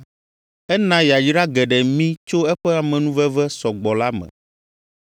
Ena yayra geɖe mí tso eƒe amenuveve sɔ gbɔ la me.